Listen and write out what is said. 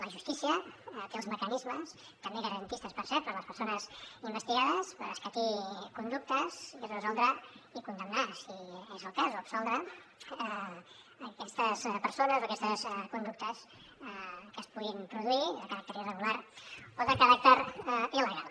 la justícia té els mecanismes també garantistes per cert per a les persones investigades per escatir conductes i resoldre i condemnar si és el cas o absoldre aquestes persones o aquestes conductes que es puguin produir de caràcter irregular o de caràcter il·legal